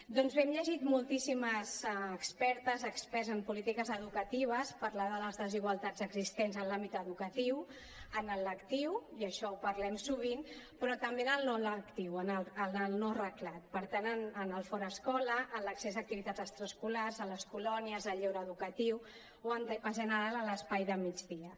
doncs bé hem llegit moltíssimes expertes experts en polítiques educatives parlar de les desigualtats existents en l’àmbit educatiu en el lectiu i això ho parlem sovint però també en el no lectiu en el no reglat per tant en el fora escola en l’accés a activitats extraescolars a les colònies al lleure educatiu o en general a l’espai de migdia